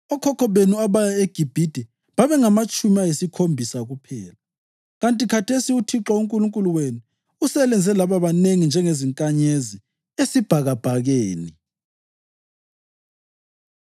Okhokho benu abaya eGibhithe babengamatshumi ayisikhombisa kuphela, kanti khathesi uThixo uNkulunkulu wenu uselenze laba banengi njengezinkanyezi esibhakabhakeni.”